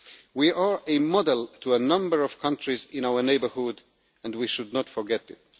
We are a model to a number of countries in our neighbourhood, and we should not forget it.